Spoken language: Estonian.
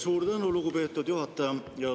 Suur tänu, lugupeetud juhataja!